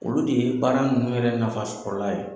Olu de ye baara ninnu yɛrɛ nafasɔla ye.